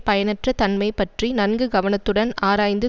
பயனற்ற தன்மை பற்றி நன்கு கவனத்துடன் ஆராய்ந்து